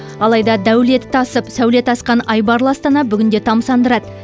алайда дәулеті тасып сәулеті асқан айбарлы астана бүгінде тамсандырады